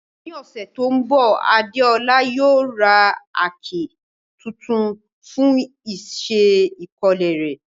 Ní ọ̀sẹ̀ tó ń bọ̀, Adeola yóò ra àáké tuntun fún iṣẹ́ ìkọ́lé rẹ̀.